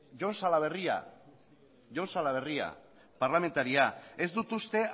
jon salaberria jon salaberria parlamentaria ez dut uste